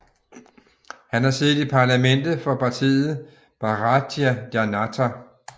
Han har siddet i Parlamentet for partiet Bharatiya Janata